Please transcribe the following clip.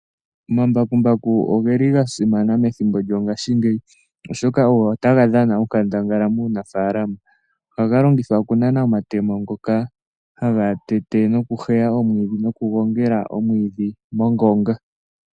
Omambakumbaku ohe li ga simana methimbo lyongashingeyi oshoka ogo taga dhana onkandangala muunafalama. Ohaga longithwa okunana omatemo ngoka haga tete nokuheya omwiidhi nokugongela omwiidhi mongonga.